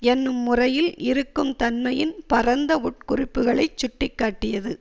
என்னும் முறையில் இருக்கும் தன்மையின் பரந்த உட்குறிப்புக்களைச் சுட்டி காட்டியது